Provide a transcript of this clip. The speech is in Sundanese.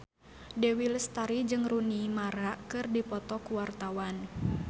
Dewi Lestari jeung Rooney Mara keur dipoto ku wartawan